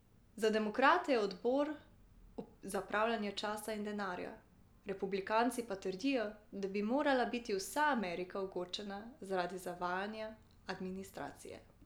Za demokrate je odbor zapravljanje časa in denarja, republikanci pa trdijo, da bi morala biti vsa Amerika ogorčena zaradi zavajanja administracije.